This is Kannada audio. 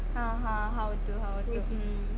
ಹ ಹ. ಹೌದು ಹೌದು ಹ್ಮ್ಂ.